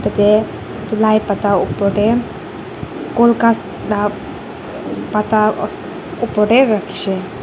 ete etu lai pata oper te gol ghass la pata ose oper te rakhi shey.